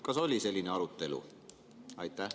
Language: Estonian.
Kas oli selline arutelu?